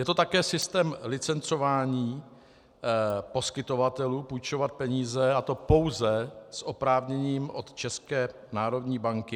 Je to také systém licencování poskytovatelů půjčovat peníze, a to pouze s oprávněním od České národní banky.